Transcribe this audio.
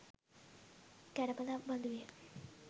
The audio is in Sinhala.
කැඩපතක් බඳු විය.